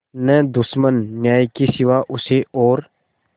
न दुश्मन न्याय के सिवा उसे और